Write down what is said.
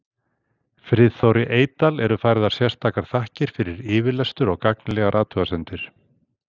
Friðþóri Eydal eru færðar sérstakar þakkir fyrir yfirlestur og gagnlegar athugasemdir.